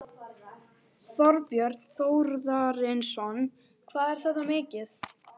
Þorbjörn Þórðarson: Hvað er þetta mikið?